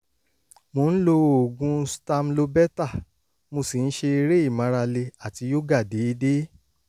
mo ń lo oògùn stamlobeta mo sì ń ṣe eré ìmárale àti yoga déédéé